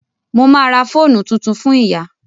Mo ma ra fóònù tuntun fún ìyá